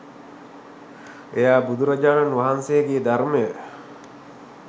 එයා බුදුරජාණන් වහන්සේගේ ධර්මය